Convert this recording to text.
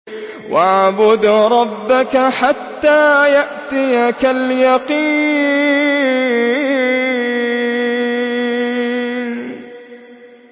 وَاعْبُدْ رَبَّكَ حَتَّىٰ يَأْتِيَكَ الْيَقِينُ